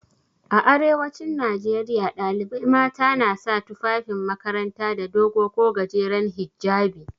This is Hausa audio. A arewacin Najeriya ɗalibai mata na sa tufafin makaranta da dogo ko gajeren hijjabi.